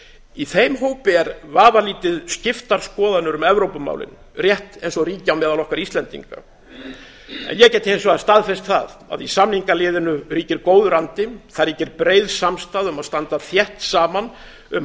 í þeim hópi eru vafalítið skiptar skoðanir um evrópumálin rétt eins og ríkja á meðal okkar íslendinga en ég get hins vegar staðfest það að í samningaliðinu ríkir góður andi þar ríkir breið samstaða um að standa þétt saman um